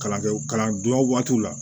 Kalankɛ kalan dilan waatiw la